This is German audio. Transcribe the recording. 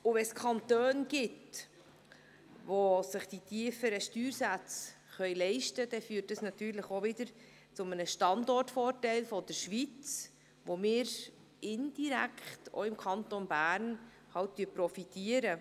Und wenn es Kantone gibt, die sich tiefere Steuersätze leisten können, führt dies auch wieder zu einem Standortvorteil der Schweiz, von dem wir indirekt auch im Kanton Bern profitieren.